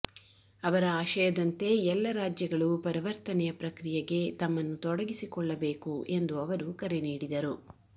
ಅವರ ಆಶಯದಂತೆ ಎಲ್ಲ ರಾಜ್ಯಗಳು ಪರವರ್ತನೆಯ ಪ್ರಕ್ರಿಯೆಗೆ ತಮ್ಮನ್ನು ತೊಡಗಿಸಿಕೊಳ್ಳಬೇಕು ಎಂದು ಅವರು ಕರೆ ನೀಡಿದರು